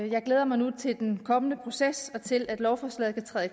jeg glæder mig nu til den kommende proces og til at lovforslaget kan træde